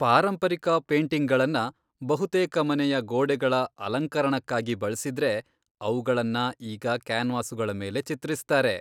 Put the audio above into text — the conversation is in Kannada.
ಪಾರಂಪರಿಕ ಪೇಟಿಂಗ್ಗಳನ್ನ ಬಹುತೇಕ ಮನೆಯ ಗೋಡೆಗಳ ಅಲಂಕರಣಕ್ಕಾಗಿ ಬಳ್ಸಿದ್ರೆ, ಅವುಗಳನ್ನ ಈಗ ಕ್ಯಾನ್ವಾಸುಗಳ ಮೇಲೆ ಚಿತ್ರಿಸ್ತಾರೆ.